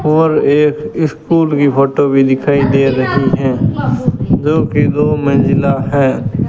और एक स्कूल की फोटो भी दिखाई दे रही हैं जो कि दो मंजिला हैं।